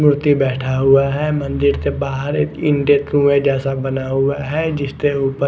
व्यक्ति बैठा हुआ है मंदिर के बहार एक जैसा बना हुआ है जिसके ऊपर--